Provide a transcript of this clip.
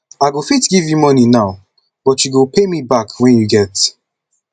i go fit give you money now but you go pay me back wen you get